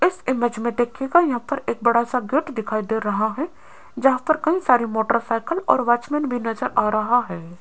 इस इमेज में देखिएगा यहां पर एक बड़ा सा गेट दिखाई दे रहा है जहां पर कई सारे मोटर साइकिल और वॉचमैन भी नजर आ रहा है।